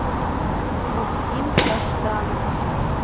максим таштанов